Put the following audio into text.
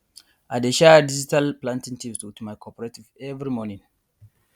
i dey share digital planting tips wit my cooperative every morning